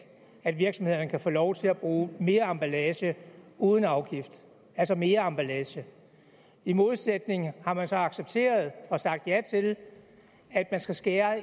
at virksomhederne kan få lov til at bruge mere emballage uden afgift altså mere emballage i modsætning hertil har man så accepteret og sagt ja til at man skal skære